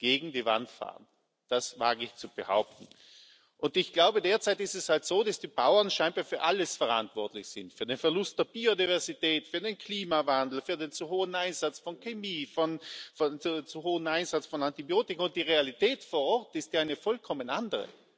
Gegen die Wand fahren das wage ich zu behaupten. Und ich glaube, derzeit ist es halt so, dass die Bauern scheinbar für alles verantwortlich sind für den Verlust der Biodiversität, für den Klimawandel, für den zu hohen Einsatz von Chemie, für den zu hohen Einsatz von Antibiotika. Die Realität vor Ort ist ja eine vollkommen andere.